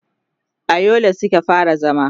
a Yola Suka fara zama